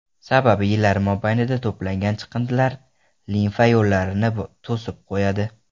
Sababi yillar mobaynida to‘plangan chiqindilar limfa yo‘llarini to‘sib qo‘yadi.